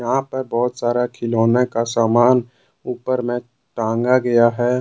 यहां पे बहोत सारा खिलौने का समान ऊपर मे टांगा गया है।